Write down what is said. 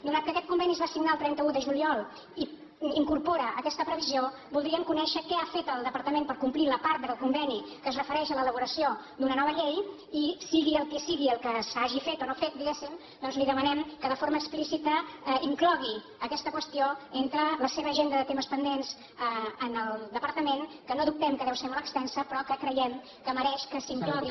atès que aquest conveni es va signar el trenta un de juliol i incorpora aquesta previsió voldríem conèixer què ha fet el departament per complir la part del conveni que es refereix a l’elaboració d’una nova llei i sigui el que sigui el que s’hagi fet o no fet diguéssim doncs li demanem que de forma explícita inclogui aquesta qüestió entre la seva agenda de temes pendents en el departament que no dubtem que deu ser molt extensa però que creiem que mereix que s’inclogui